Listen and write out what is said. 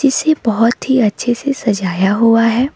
इसे बहोत ही अच्छे से सजाया हुआ हैं।